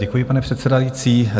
Děkuji, pane předsedající.